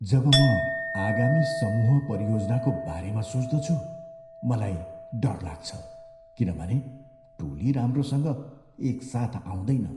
जब म आगामी समूह परियोजनाको बारेमा सोच्दछु मलाई डर लाग्छ किनभने टोली राम्रोसँग एकसाथ आउँदैन।